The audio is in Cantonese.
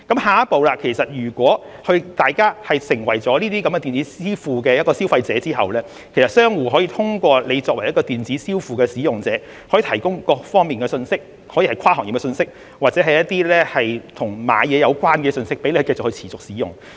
下一步，如果大家成為了使用電子支付的消費者，商戶便可以通過電子支付平台向使用者提供各方面的信息，可以是跨行業信息，或是與購物有關的信息，讓大家可以持續使用。